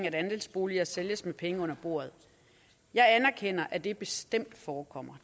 at andelsboliger sælges med penge under bordet jeg anerkender at det bestemt forekommer